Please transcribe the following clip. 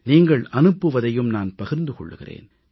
நீங்கள் அனுப்புவதையும் நான் பகிர்ந்து கொள்கிறேன்